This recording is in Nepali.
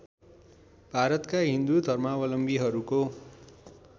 भारतका हिन्दू धर्मावलम्बीहरूको